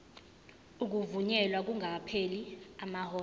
ukuvunyelwa kungakapheli amahora